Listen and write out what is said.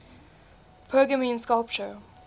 pergamene sculpture